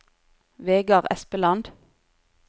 Vegard Espeland